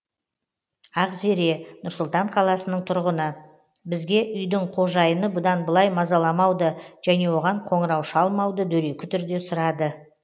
ақзере нұр сұлтан қаласының тұрғыны бізге үйдің қожайыны бұдан былай мазаламауды және оған қоңырау шалмауды дөрекі түрде сұрады